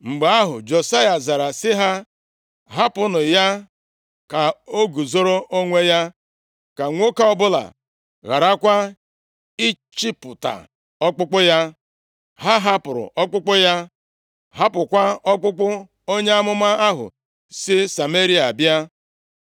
Mgbe ahụ, Josaya zara sị ha, “Hapụnụ ya ka o guzoro onwe ya. Ka nwoke ọbụla gharakwa ịchịpụta ọkpụkpụ ya.” Ha hapụrụ ọkpụkpụ ya, hapụkwa ọkpụkpụ onye amụma ahụ si Sameria bịa.